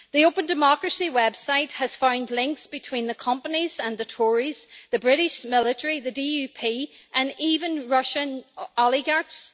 The Open Democracy website has found links between the companies and the Tories, the British military, the DUP and even Russian oligarchs.